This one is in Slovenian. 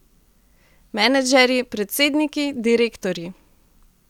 Menedžerji, predsedniki, direktorji ...